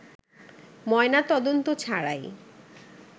ময়নাতদন্ত ছাড়াই